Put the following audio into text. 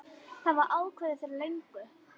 Það var ákveðið fyrir löngu.